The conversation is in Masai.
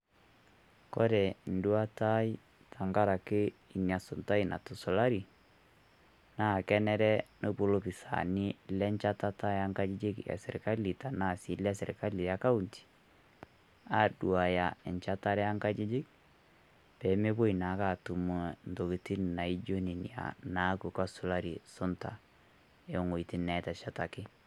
Kore enduata ai tenkaraki inasuntai natusulari, naa kenare nepuo lopisaani lenchatata ankajijik eserkali, tanaa si lesirkali ekaunti, aduaya enchatare ankajijik, pemepoi naake atum iweiting' naijo nene naaku kasulari sunta iweiting' neteshetaki.